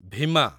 Bhima